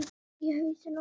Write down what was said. Í hausinn á honum.